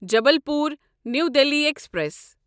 Jabalpur new Delhi express